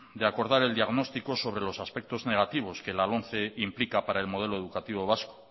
de acordar el diagnóstico sobre los aspectos negativos que la lomce implica para el modelo educativo vasco